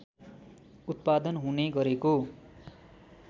उत्पादन हुने गरेको